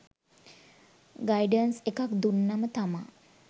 guidance එකක් දුන්නම තමා